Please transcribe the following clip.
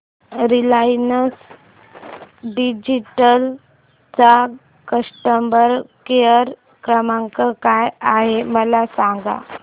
Reliance digital चा customer care क्रमांक काय आहे मला सांगा